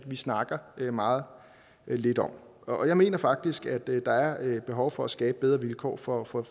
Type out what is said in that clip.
vi snakker meget lidt om og jeg mener faktisk at der er behov for at skabe bedre vilkår for for